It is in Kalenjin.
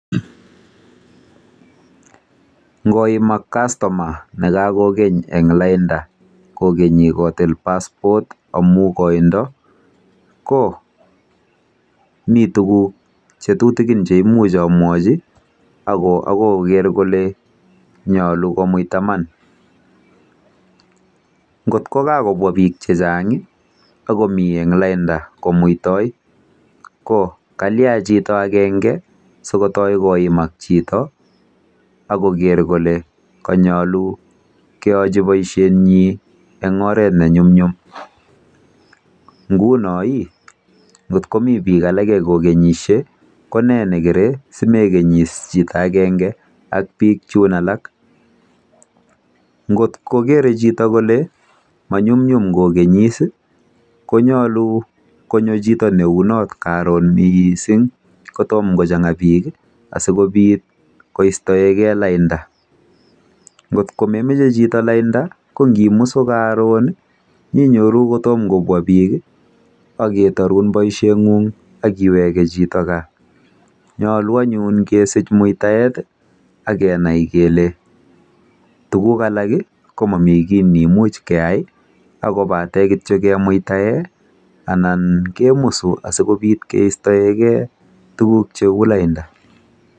Ngoimak kastoma nekakokeny eng lainda kokeny kotil passport amu koindo ko mi tuguk che tutikin cheimuch amwachi kot koit koker kole nyolu komuita iman. Ngot ko kakobwa bik chechang akokeny eng lainda komuitoi ko kalia chito agenge sikotoi koimak chito akoker kole kanyolu keyochi boisietnyi eng oret nenyumnyum